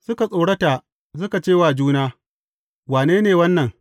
Suka tsorata, suka ce wa juna, Wane ne wannan?